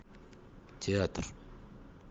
театр